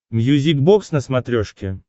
мьюзик бокс на смотрешке